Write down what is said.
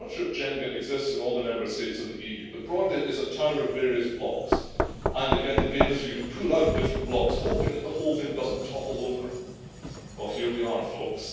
I am not sure if Jenga exists in all the Member States of the EU but broadly, it is a tower of various blocks, and again the game is for you to pull out different blocks, hoping that the whole thing does not topple over. Well here we are folks.